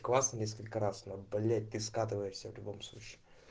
классно несколько раз но блять ты скатываешься в любом случае